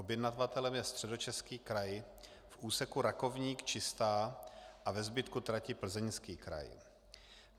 Objednavatelem je Středočeský kraj v úseku Rakovník - Čistá a ve zbytku tratě Plzeňský kraj.